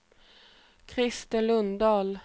Krister Lundahl